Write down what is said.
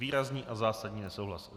Výrazný a zásadní nesouhlas.